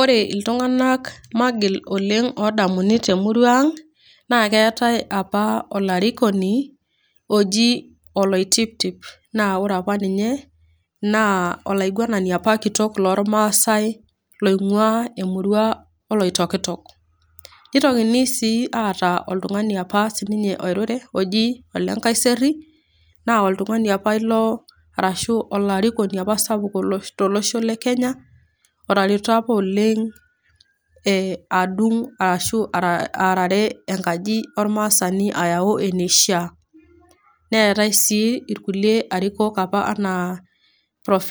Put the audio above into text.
Ore iltung'ana magil oleng' odemuni te emurua aang' naa keatai apa olarikoni oji Oloitiptip. Naa ore opa ninye, naa olaiguanani kitok opa loolmaasai loinguaa emurua oloitokitok. Neitoki sii aatau oltung'ani opa oji Olenkaiseri, naa oltung'ani opa ilo arashu olarikoni opa sapuk tolosho le Kenya otareto opa oleng' adung' arashu aarare enkaji ormaasani ayau eneishaa. Neatai sii inkulie arikok anaa Prof